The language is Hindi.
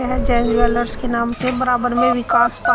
और जैन ज्वेलर्स के नाम से बराबर में विकास पान--